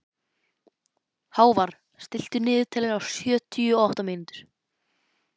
Hávarr, stilltu niðurteljara á sjötíu og átta mínútur.